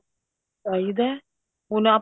ਚਾਹੀਦਾ ਹੁਣ ਆਪਾਂ